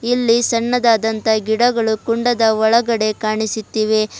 ಇಲ್ಲಿ ಸಣ್ಣದಾದಂತ ಗಿಡಗಳು ಕುಂಡದ ಒಳಗಡೆ ಕಾಣಿಸಿತ್ತಿವೆ.